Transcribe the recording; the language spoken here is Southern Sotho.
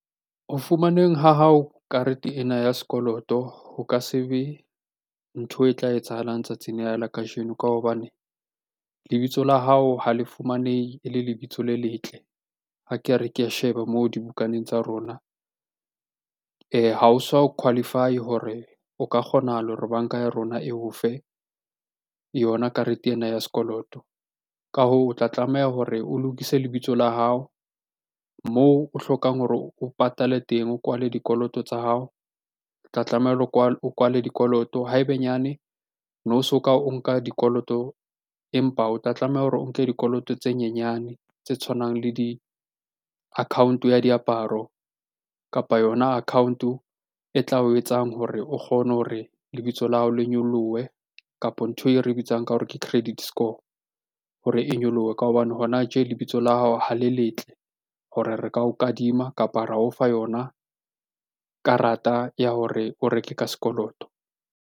Ho fumaneng ha hao karete ena ya sekoloto ho ka se be ntho e tla etsahalang tsatsing lena la kajeno. Ka hobane lebitso la hao ha le fumanehe e le lebitso le letle, a ke re ke a sheba moo dibukaneng tsa rona ha o so qualify-e hore o ka kgonahala hore banka ya rona eo fe yona karete ena ya sekoloto. Ka hoo, o tla tlameha hore o lokise lebitso la hao moo o hlokang hore o patale teng, o kwale dikoloto tsa hao o tla tlameha hore o kwale dikoloto. Ha ebe nyane ne o soka o nka dikoloto, empa o tla tlameha hore o nke dikoloto tse nyenyane tse tshwanang le di-account-o ya diaparo, kapa yona account-o e tla o etsang hore o kgone hore lebitso la hao le nyolohe, kapo ntho e re bitsang ka hore ke credit score hore e nyolohe. Ka hobane hona tje lebitso la hao ha le letle hore re ka o kadima, kapa ra o fa yona karata ya hore o reke ka sekoloto.